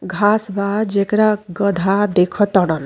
घास बा जेकरा गदा देख तड़न।